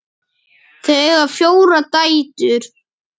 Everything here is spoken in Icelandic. Þau eiga fjórar dætur.